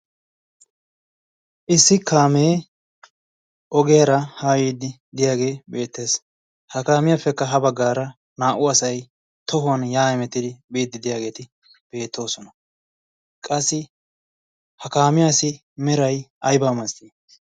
issi kaamee ogeera ha yiiddi diyaagee beettees. ha kaamiyaappekka ha baggaara naa'u asai tohuwan yaa'emettidi biiddidiyaageeti beettoosona. qassi ha kaamiyaasi merai aibaamastti?